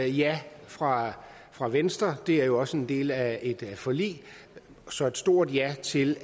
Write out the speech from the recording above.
ja fra fra venstre det er jo også en del af et forlig så et stort ja til